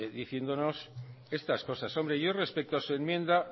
diciéndonos estas cosas hombre yo respeto a su enmienda